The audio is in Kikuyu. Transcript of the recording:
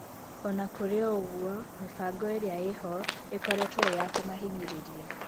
Ona kũrĩ o-ũguo, mĩbango ĩrĩa ĩho ĩkoretwo ĩyakũmahinyĩrĩria.